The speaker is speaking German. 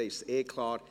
dann ist es eh klar.